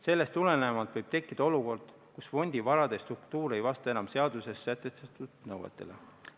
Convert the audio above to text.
Sellest tulenevalt võib tekkida olukord, kus fondi varade struktuur ei vasta enam seaduses sätestatud nõutele.